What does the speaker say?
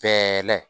Bɛɛ la